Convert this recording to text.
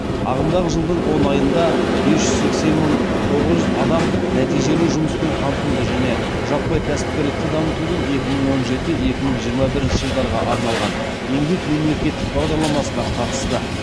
ағымдағы жылдың он айында бес жүз сексен мың тоғыз жүз адам нәтижелі жұмыспен қамтуды және жаппай кәсіпкерлікті дамытудың екі мың он жеті екі мың жиырма бірінші жылдарға арналған еңбек мемлекеттік бағдарламасына қатысты